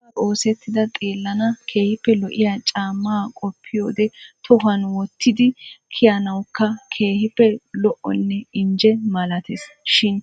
Galbbappe oosettidaa xeellana keehippe lo"iya caamma qoppiyode tohuwan wottidi kiyanawukka keehippe lo"one injje malatees shin